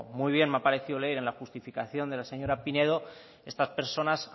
muy bien me ha parecido leer en la justificación de la señora pinedo estas personas